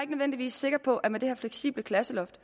nødvendigvis sikker på at der med det her fleksible klasseloft